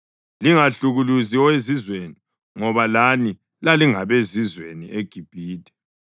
Lingahlukuluzi owezizweni ngoba lani lalingabezizweni eGibhithe.